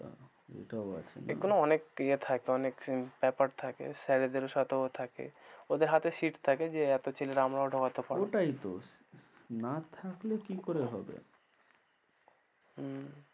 এটাও আছে না, এগুলো অনেক ইয়ে থাকে অনেক ব্যপার থাকে sir দের সাথেও থাকে ওদের হাতে sit থাকে যে এতো ছেলে আমরাও ঢোকাতে পারব, ওটাই তো না থাকলে কি করে হবে হম